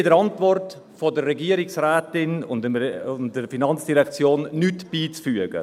Wir haben der Antwort der Regierungsrätin und der Finanzdirektion nichts beizufügen.